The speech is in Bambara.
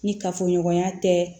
Ni kafoɲɔgɔnya tɛ